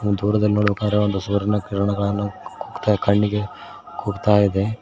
ದೂರದಲ್ಲಿ ನೋಡಬೇಕಾದರೆ ಒಂದು ಸೂರ್ಯನ ಕಿರಣಗಳನ್ನು ಕಣ್ಣಿಗೆ ಕುಕ್ಕುತಾ ಇದೆ.